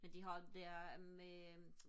men de har det er de med øh